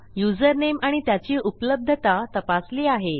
username आणि त्याची उपलब्धता तपासली आहे